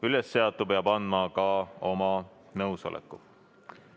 Ülesseatu peab andma ka oma nõusoleku.